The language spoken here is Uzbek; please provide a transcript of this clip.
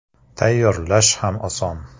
Tayyorlash ham oson.